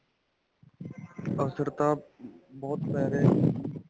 ਅਸਰ ਤਾ ਬਹੁਤ ਪੈ ਰਿਆ ਜੀ.